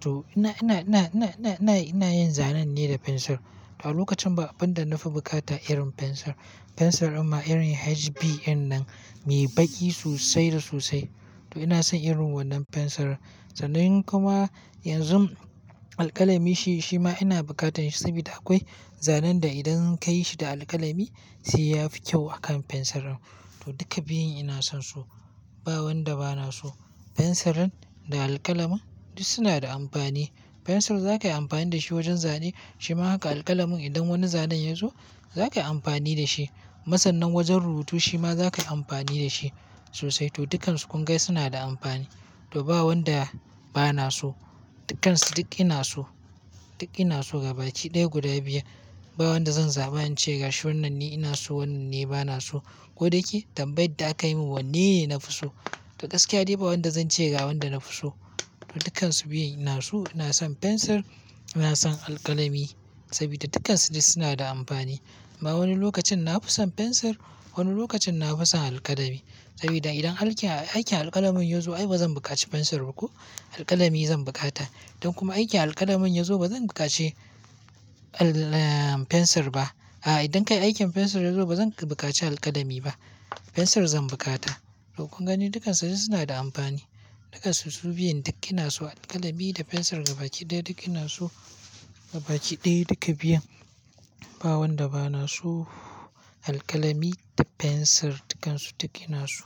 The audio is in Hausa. To ina, ina, ina, ina, ina, ina yin zanen ne da fensir. To a lokacin ba abin da na fi bukata irin fensir. Fensir amma irin HB irin nan mai baƙi sosai da sosai. To ina son irin wannan fensirin. Sanin kuma yanzu alkalami shi, shi ma ina bukatan shi sabida akwai zanen da idan ka yi shi da alkalami sai yafi kyau akan fensirin. To duka biyun ina son su. Ba wanda bana so. Fensirin da alkalamin duk suna da amfani. Fensir za ka yi amfani da shi wajen zane shima haka alkalamin idan wani zanen ya zo za ka yi amfani da shi. Masannan wajen rubutu shima za ka yi amfani da shi sosai. To dukansu kun ga suna da amfani. To ba wanda bana so. Dukansu duk ina so. Duk ina so gaba ki ɗaya guda biyan. Ba wanda zan zaɓa in ce gashi wannan ni ina so wannan ni bana so. Ko da yake tambayar da aka yi mun wanne na fi so? To gaskiya dai ba wanda zan ce ga wanda na fi so. Dukansu biyun ina so. Ina son fensir, ina son alkalami sabida dukansu duk suna da amfani. Amma wani lokacin na fi son fensir wani lokacin na fi son alkalami. Sabida idan aikin alkalamin yazo ai bazan bukaci fensir ba ko alkalami zan bukata. Don kuma aikin alkalamin yazo bazan bukaci al, eh fensir ba. A idan kai aikin fensir yazo bazan bukaci alkalami ba fensir zan bukata. To kun gani dukansu suna da amfani. Dukansu su biyun duk ina so alkalami da fensir gaba ki ɗaya duk ina so gaba ki ɗaya guda biyan. Ba wanda bana so alkalami da fensir dukansu duk ina so.